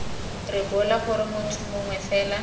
rebola gore motho mongwe fela